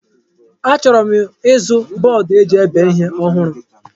Achọrọ m ịzụ bọọdụ eji ebe ihe ọhụrụ.